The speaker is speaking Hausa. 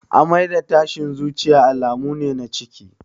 Amai da tashin zuciya alamu ne na ciki